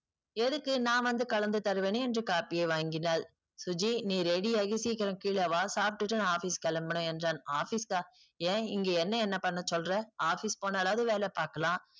எதுக்கு நான் வந்து கலந்து தருவேனே என்று காப்பியை வாங்கினால் சுஜி நீ ready ஆகி சீக்கிரம் கீழ வா சாப்டுட்டு நா office கெளம்பனும் என்றான் office ஆஹ் ஏன் இங்க என்ன என்னா பன்னசொல்ற office போனாலாவது வேல பாக்கலாம்